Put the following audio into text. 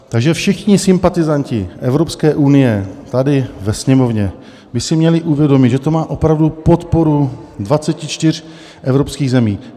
Takže všichni sympatizanti Evropské unie tady ve Sněmovně by si měli uvědomit, že to má opravdu podporu 24 evropských zemí.